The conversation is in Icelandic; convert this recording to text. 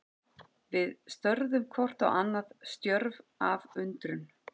Við störðum hvort á annað, stjörf af undrun.